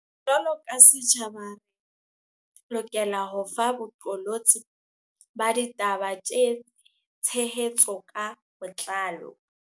Jwalo ka setjhaba, re lokela ho fa boqolotsi ba ditaba tshe hetso ka botlalo.